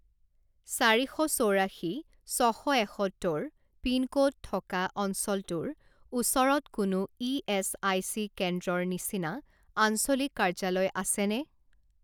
চাৰি শ চৌৰাশী ছশ এসত্তৰ পিনক'ড থকা অঞ্চলটোৰ ওচৰত কোনো ইএচআইচি কেন্দ্ৰৰ নিচিনা আঞ্চলিক কাৰ্যালয় আছেনে?